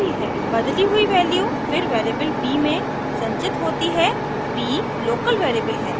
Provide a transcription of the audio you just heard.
बदली हुई वैल्यू फिर वेरिएबल b में संचित होती है b लोकल वेरिएबल है